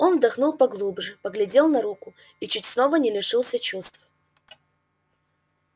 он вдохнул поглубже поглядел на руку и чуть снова не лишился чувств